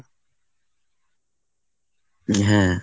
হ্যাঁ।